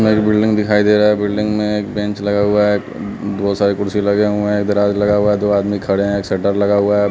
एक बिल्डिंग दिखाई दे रहा है बिल्डिंग में एक बेंच लगा हुआ है बहुत सारे कुर्सी लगे हुए हैं दराज लगा हुआ है दो आदमी खड़े हैं एक शटर लगा हुआ है।